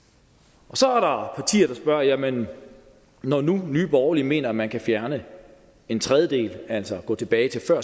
så er der partier der spørger jamen når nu nye borgerlige mener man kan fjerne en tredjedel altså gå tilbage til før